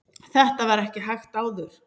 þetta var ekki hægt áður